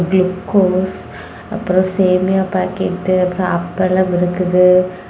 Glucose அப்புறம் சேமியா packet அப்புறம் அப்பளம் இருக்குது.